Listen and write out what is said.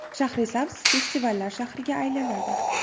Shahrisabz festivallar shahriga aylanadi.